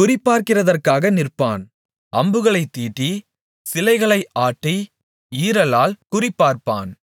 குறிபார்க்கிறதற்காக நிற்பான் அம்புகளைத் தீட்டி சிலைகளை ஆட்டி ஈரலால் குறிபார்ப்பான்